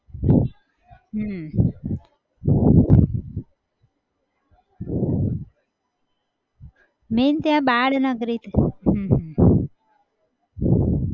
હમ main ત્યાં બાળનગરી છે. હમ